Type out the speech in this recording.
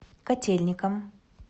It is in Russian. котельникам